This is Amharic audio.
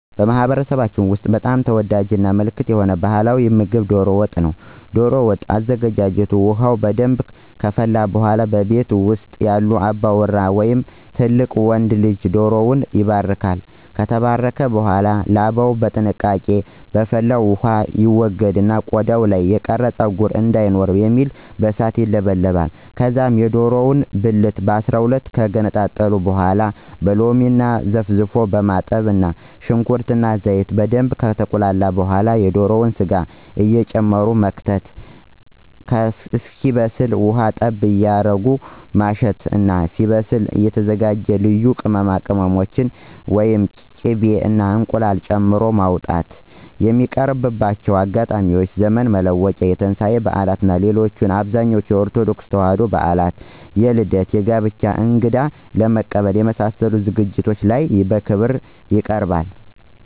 በማህበረሰባችን ውስጥ በጣም ተወዳጅ እና ምልክት የሆነ ባህላዊ ምግብ ዶሮ ወጥ ነው። ዶሮ ወጥ አዘገጃጀት ውሃው በደንብ ከፈላ በኃላ በቤት ውስጥ ያለ አባወራ ወይም ትልቅ ወንድ ልጅ ዶሮውን ይባርካል። ከተባረከ በኃላ ላባውን በጥንቃቄ በፈላው ውሃ ይወገድና ቆዳው ላይ የቀረ ፀጉር እንዳይኖር በሚል በእሳት ይለበለባል። ከዛ የዶሮውን ብልቱን ከ12 ከገነጣጠሉ በኃላ በሎሚ ዘፍዝፎ ማጠብ እና ሽንኩርት እና ዘይት በደንብ ከተቁላላ በኃላ የዶሮውን ስጋ እየጨመቁ መክተት እስኪበስል ውሃ ጠብ እያረጉ ማሸት እና ሲበስል የተዘጋጁ ልዩ ቅመሞችን፣ ቂቤ እና እንቁላል ጨምሮ ማውጣት። የሚቀርብባቸው አጋጣሚዎች ዘመን መለወጫ፣ የትንሳኤ በዓል እና ሌሎች አብዛኞቹ የኦርቶዶክስ ተዋሕዶ በዓላት ላይ እና የልደት፣ የጋብቻ፣ እንግዳ ለመቀበል የመሳሰሉት ዝግጅቶች ላይ በክብር ይቀርባል።